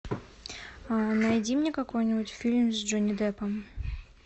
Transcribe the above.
найди мне какой нибудь фильм с джонни деппом